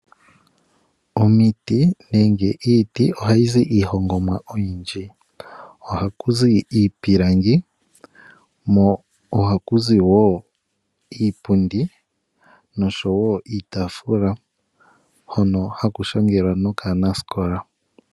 Omiti nenge iiti ohayi zi iihongomwa oyindji. Ohaku zi iipilangi ko ohaku zi wo iipundi noshowo iitaafula hono haku shangelwa nokaanasikola.